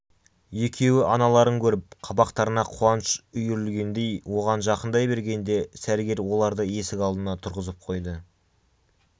екеуі аналарын көріп қабақтарына қуаныш үйірілгендей оған жақындай бергенде сәргел оларды есік алдына тұрғызып қойды